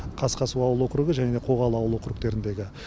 қасқасу ауыл огругі және қоғалы ауыл округтеріндегі